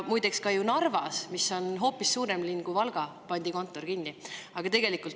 Muideks, ka Narvas, mis on hoopis suurem linn kui Valga, pandi kontor kinni.